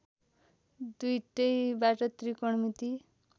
दुईटैबाट त्रिकोणमिति